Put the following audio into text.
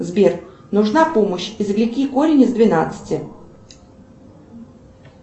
сбер нужна помощь извлеки корень из двенадцати